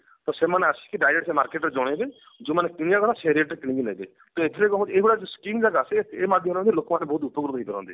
ତ ସେମାନେ ଆସିକି direct market ରେ ଜଣେଇବେ ଯୋଉମାନେ କିଣିବା କଥା ସେଇ rate ରେ କିଣିକି ନେବେ ତ ଏଥିରେ କଣ ହଉଛି ଏଇଭଳିଆ ଯୋଉ skim ଯୋଉ ଆସେ ଏ ମାଧ୍ୟମରେ ମଧ୍ୟ ବହୁତ ଲୋକ ଉପକୃତ ହେଇ ପାରନ୍ତି